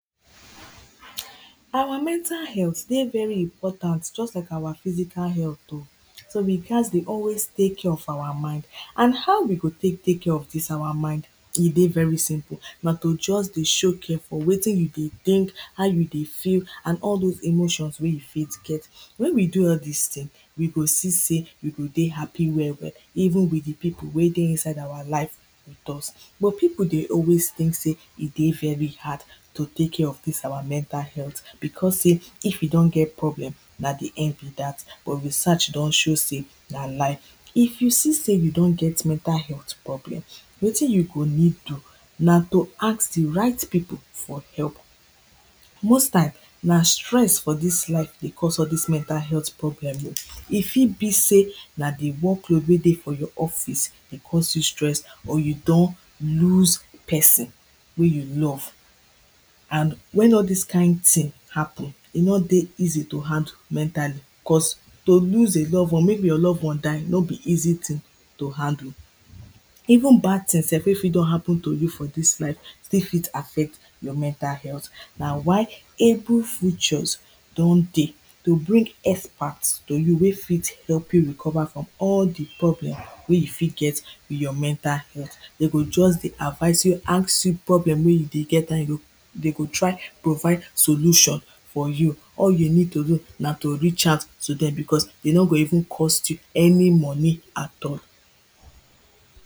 Our mental health dey very important just like our physical health o. So we gats dey always tek care of our mind and how we go tek tek care for dis our mind, e dey very simple na to just dey show care for wetin you dey think, how you dey feel and all dose emotions wen you fit get. Wen we do all dis things, we go see sey we go dey happy well well even with di pipo wen dey inside our live with us. Pipo dey always think sey e dey very hard to tek care of dis our mental health becos sey, if we don get problem na di end be dat but research don show sey na lie. If you see sey you don get mental health problem wetin you go need do na to ask di right pipo for help. Most time na stress for dis life dey cause all dis mental health problem o, if fit be sey na di workload wen dey for your office dey cause you stress or you don lose person wey you love and wen all dis kind thing happen, e no dey easy to handle mentally cause to lose a love ones maybe your love one die no be easy thing to handle, even bad thing sef wen fit don happen to you for dis life still fit affect your mental health. Na why able feature don dey to bring expert to you wen fit help you recover from all di problem wey you fit get your mental health, dem go just dey advice you, ask you problem wey you dey get and dey go try to find solution for you. All you need to do na to reach out to dem becos e no go even cost you any money at all.